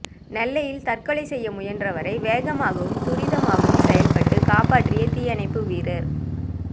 நெல்லையில் தற்கொலை செய்ய முயன்றவரை வேகமாகவும் துரிதமாகவும் செயல்பட்டு காப்பாற்றிய தீயணைப்பு வீரர்